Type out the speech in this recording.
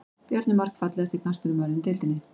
Bjarni Mark Fallegasti knattspyrnumaðurinn í deildinni?